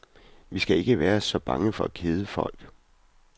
Vi skal ikke være så bange for at kede folk.